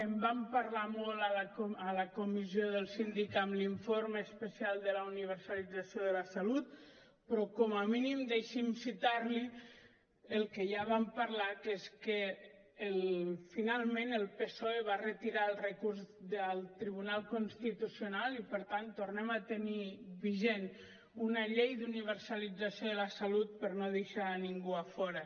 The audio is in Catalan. en vam parlar molt a la comissió del síndic amb l’informe especial de la universalització de la salut però com a mínim deixi’m citar li el que ja vam parlar que és que finalment el psoe va retirar el recurs del tribunal constitucional i per tant tornem a tenir vigent una llei d’universalització de la salut per no deixar ningú a fora